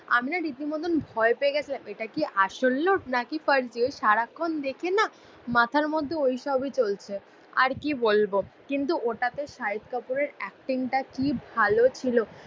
আমি না রীতিমতন ভয় পেয়ে গেছিলাম. এটা কি আসল লোক নাকি ফার্জি ওই সারাক্ষণ দেখে না মাথার মধ্যে ওই সবই চলছে. আর কি বলবো? কিন্তু ওটাতে শাহিদ কাপুরের এক্টিংটা কি ভালো ছিল